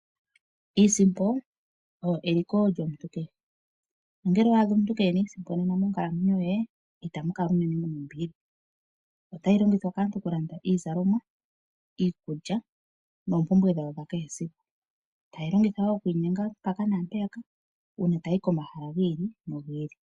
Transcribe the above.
Iisimpo oyo eliko lyomuntu kehe, nongele owa adha omuntu kee na iisimpo nena monkalamwenyo ye itamu kala unene mu na ombili. Otayi longithwa kaantu okulanda iizalomwa, iikulya noompumbwe dhawo dhakehe esiku. Taye yi longitha wo okwiinyenga mpaka naampeyaka uuna taa yi komahala gi ili nogi ili.